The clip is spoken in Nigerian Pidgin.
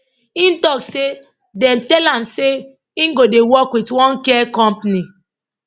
im tok say dem tell am say im go dey work wit one care company